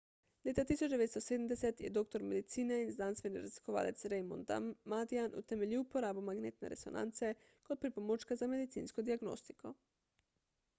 leta 1970 je doktor medicine in znanstveni raziskovalec raymond damadian utemeljil uporabo magnetne resonance kot pripomočka za medicinsko diagnostiko